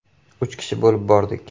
Uch kishi bo‘lib bordik.